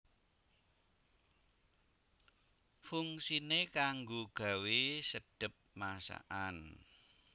Fungsiné kanggo gawé sedhep masakan